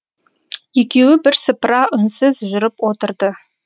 екеуі бірсыпыра үнсіз жүріп отырды